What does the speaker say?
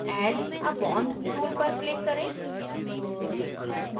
add a bond tool पर click करें